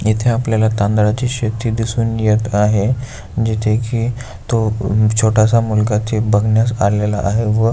इथे आपल्याला तांदळाची शेती दिसून येत आहे जिथे की तो छोटासा मुलगा ते बघण्यास आलेला आहे व--